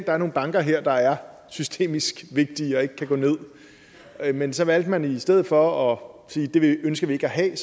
er nogle banker her der er systemisk vigtige og ikke kan gå ned men så valgte man i stedet for at sige at det ønsker vi ikke at have